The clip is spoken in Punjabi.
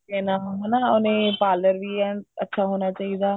ਲੈਣਾ ਹਨਾ ਉਹਨੇ parlor ਵੀ ਐਨ ਅੱਛਾ ਹੋਣਾ ਚਾਹੀਦਾ